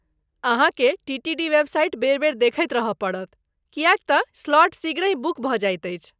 अहाँकेँ टीटीडी वेबसाइट बेर बेर देखैत रहय पड़त, किएकतँ स्लॉट शीघ्रहि बुक भऽ जाइत अछि।